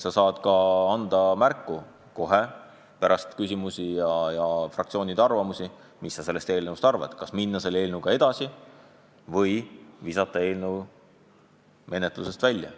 Sina aga saad kohe pärast küsimusi ja fraktsioonide arvamusavaldusi märku anda, mis sa sellest eelnõust arvad – kas pead õigeks minna selle eelnõuga edasi või visata see menetlusest välja.